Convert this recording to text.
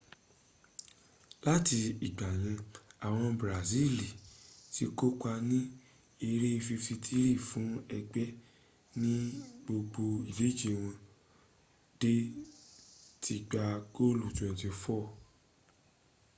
láti ìgbàyẹn àwọn brasili ti kópa ní eré 53 fún ẹgbẹ́ ní gbogbo ìdíje wọ́n dẹ̀ ti gbá goolu 24